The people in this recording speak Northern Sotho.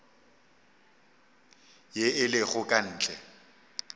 ye e lego ka ntle